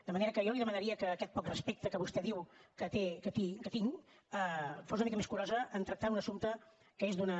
de manera que jo li demanaria que aquest poc respecte que vostè diu que tinc fos una mica més curosa en tractar un assumpte que és d’una